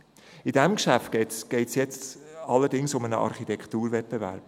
Bei diesem Geschäft geht es jetzt allerdings um einen Architekturwettbewerb.